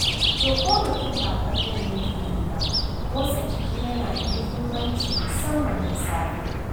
To ko mutum ba ƙwallon yake yi ba, motsa jiki yana da muhimmanci musamman da safe.